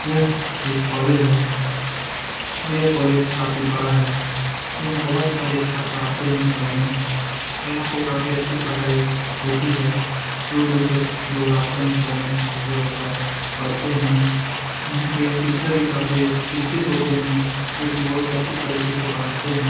यह एक कॉलेज है और यह कॉलेज काफी बड़ा है । यहाँ बोहोत सारे छात्रा आते हैं पढने और यहाँ पे काफी अच्छी पढाई होती है । दूर-दूर से लोग आते हैं पढने। छात्रों पढ़ पढ़ते है । यहाँ पे शिक्षक भी काफी शिक्षित होते है जो कि बहुत ही अच्छी तरीके से पढ़ाते है ।